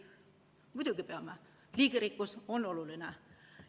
Muidugi peame, liigirikkus on oluline.